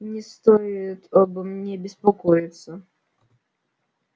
не стоит обо мне беспокоиться